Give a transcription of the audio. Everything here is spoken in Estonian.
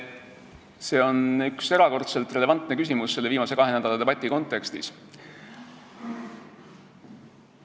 See on erakordselt relevantne küsimus viimase kahe nädala debati kontekstis.